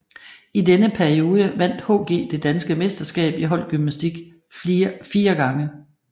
I denne periode vandt HG det danske mesterskab i holdgymnastik fire gange